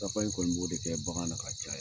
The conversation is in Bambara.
in kɔni b'o de kɛ bagan na ka caya